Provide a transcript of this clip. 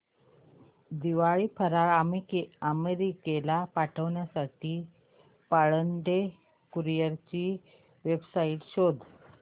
दिवाळी फराळ अमेरिकेला पाठविण्यासाठी पाळंदे कुरिअर ची वेबसाइट शोध